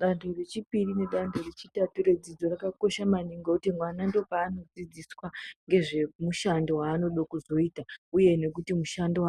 Dando rechipiri nedando rechitatu redzidzo rakakosha maningi nekuti mwana ndopaanodzidziswa nezvemushando vaanoda kuzoita, uye nekuti mushando